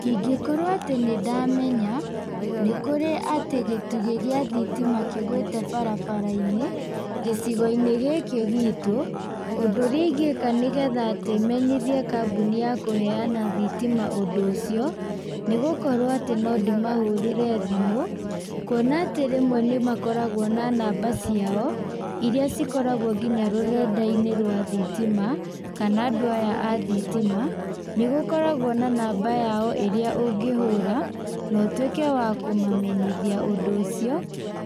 Ingĩkorwo atĩ nĩndamenya, nĩkũrĩ atĩ gĩtugĩ gĩa thitima kĩgwĩte barabarainĩ, gĩcigoinĩ gĩkĩ gitũ, ũndũ ũrĩa ingĩka nĩgetha atĩ menyithie kambũni ya kũheana thitima ũndũ ũcio, nĩgũkorwo atĩ no ndĩmahũrĩre thimũ, kuona atĩ rĩmwe nĩmakoragwo na namba ciao, iria cikoragwo nginya rũrendainĩ rwa thitima, kana andũ aya athitima, nĩgũkoragwo na namba yao ĩrĩa ũngĩhũra, na ũtuĩke wa kũmamenyithia ũndũ ũcio,